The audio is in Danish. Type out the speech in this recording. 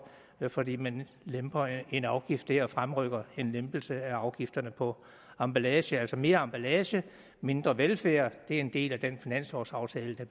fordi man lemper en afgift der og fremrykker en lempelse af afgifterne på emballage altså er mere emballage og mindre velfærd en del af den finanslovsaftale der